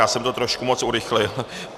Já jsem to trošku moc urychlil.